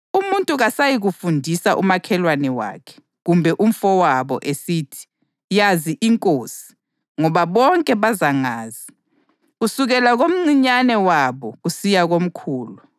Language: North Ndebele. Umuntu kasayikufundisa umakhelwane wakhe, kumbe umfowabo, esithi, ‘Yazi iNkosi,’ ngoba bonke bazangazi, kusukela komncinyane wabo kusiya komkhulu.